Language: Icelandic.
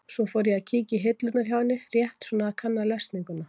Svo ég fór að kíkja í hillurnar hjá henni, rétt svona að kanna lesninguna.